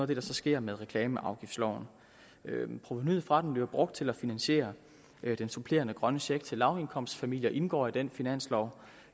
det der sker med reklameafgiftsloven provenuet fra den bliver brugt til at finansiere den supplerende grønne check til lavindkomstfamilier og indgår i den finanslov